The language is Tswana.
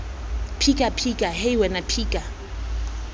phika phika hei wena phika